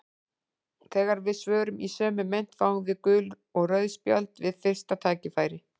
Þegar við svörum í sömu mynt fáum við gul og rauð spjöld við fyrsta tækifæri.